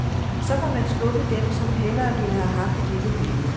Så må man skuffedem, som hellere ville have haft et lille billede.